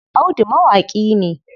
Audu mawaƙi ne.